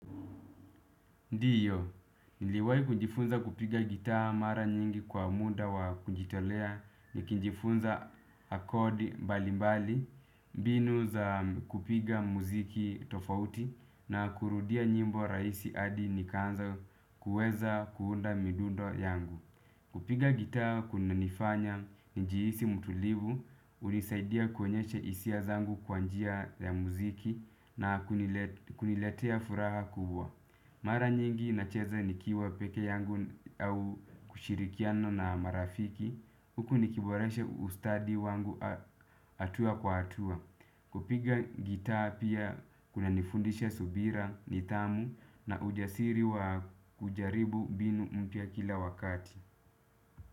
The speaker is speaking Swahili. Ndiyo, niliwahi kujifunza kupiga gitaa mara nyingi kwa muda wa kujitolea nikijifunza kodi mbalimbali, mbinu za kupiga muziki tofauti na kurudia nyimbo rahisi hadi nikaanza kuweza kuunda midundo yangu. Kupiga gitaa kunanifanya nijihisi mtulivu, hunisaidia kuonyesha hisia zangu kwa njia ya muziki na kuniletea furaha kubwa. Mara nyingi nacheza nikiwa peke yangu au kushirikiano na marafiki, huku nikiboreshe ustadi wangu hatua kwa hatua. Kupiga gitaa pia kuna nifundisha subira, nidhamu na ujasiri wa kujaribu mbinu mpya kila wakati.